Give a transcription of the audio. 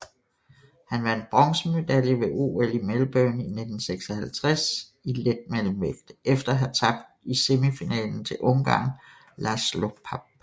Han vandt bronzemedalje ved OL i Melbourne 1956 i letmellemvægt efter at have tabt i semifinalen til ungareren László Papp